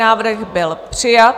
Návrh byl přijat.